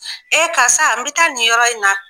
Ee karisa n bɛ taa nin yɔrɔ in na